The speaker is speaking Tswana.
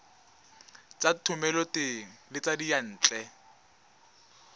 tsa thomeloteng le tsa diyantle